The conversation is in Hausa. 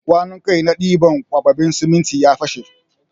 Kwanun kai na ɗiban kwaɓaɓɓen siminti ya fashe.